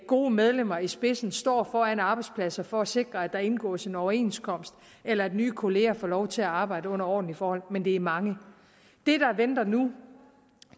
gode medlemmer i spidsen står foran arbejdspladser for at sikre at der indgås en overenskomst eller at nye kolleger får lov til at arbejde under ordentlige forhold men det er mange det der venter nu